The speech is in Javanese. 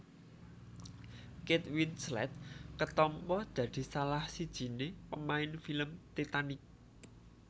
Kate Winslet ketampa dadi salah sijine pemain film Titanic